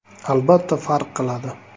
- Albatta farq qiladi.